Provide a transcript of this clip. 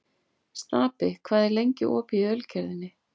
Stapi, hvað er lengi opið í Ölgerðinni?